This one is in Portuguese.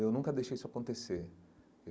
Eu nunca deixei isso acontecer.